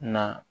Na